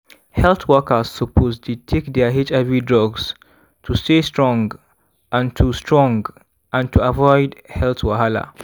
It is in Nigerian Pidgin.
health workers suppose dey take their hiv drugs to stay strong and to strong and to avoid health wahala.